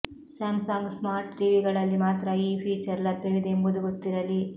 Samsung smart ಟಿವಿಗಳಲ್ಲಿ ಮಾತ್ರ ಈ ಫೀಚರ್ ಲಭ್ಯವಿದೆ ಎಂಬುದು ಗೊತ್ತಿರಲಿ